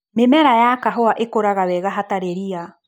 Mĩmera ya kahũa ĩkũraga wega hatari ria.